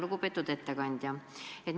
Lugupeetud ettekandja!